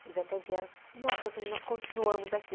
Eles até vieram, nossa, nós continuamos aqui.